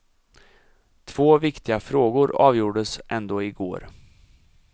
Två viktiga frågor avgjordes ändå i går.